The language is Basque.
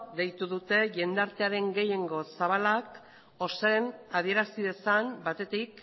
deitu dute jende artearen gehiengo zabalak ozen adierazi dezan batetik